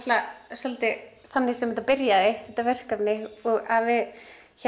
svolítið þannig sem það byrjaði þetta verkefni við